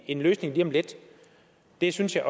en løsning lige om lidt det synes jeg